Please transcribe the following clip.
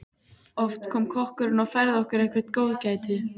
Oft kom kokkurinn og færði okkur eitthvert góðgæti.